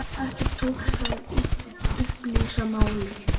Ekki tókst að upplýsa málið.